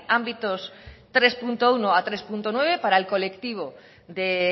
ámbitos tres punto uno a tres punto nueve para el colectivo de